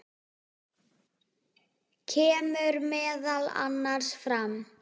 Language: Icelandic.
kemur meðal annars fram